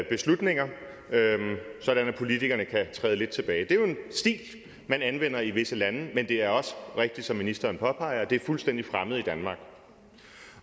beslutninger sådan at politikerne kan træde lidt tilbage det er jo en stil man anvender i visse lande men det er også rigtigt som ministeren påpeger at det er fuldstændig fremmed i danmark